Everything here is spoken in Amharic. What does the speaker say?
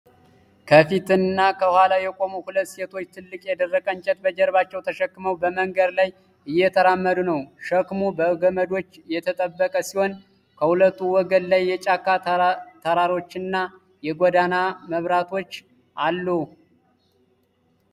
ከፊት እና ከኋላ የቆሙ ሁለት ሴቶች ትልቅ የደረቀ እንጨት በጀርባቸው ተሸክመው በመንገድ ላይ እየተራመዱ ነው። ሸክሙ በገመዶች የተጠበቀ ሲሆን ከሁለቱ ወገን ላይ የጫካ ተራሮችና የጎዳና መብራቶች አሉ።